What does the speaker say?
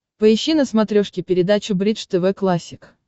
поищи на смотрешке передачу бридж тв классик